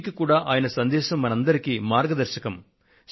నేటికి కూడా ఆయన సందేశం మనందరికీ మార్గదర్శకం